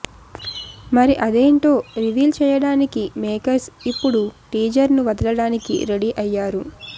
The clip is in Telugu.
మరి అదేంటో రివీల్ చెయ్యడానికి మేకర్స్ ఇప్పుడు టీజర్ ను వదలడానికి రెడీ అయ్యారు